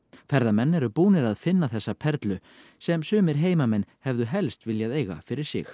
ferðamenn eru búnir að finna þessa perlu sem sumir heimamenn hefðu helst viljað eiga fyrir sig